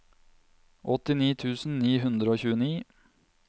åttini tusen ni hundre og tjueni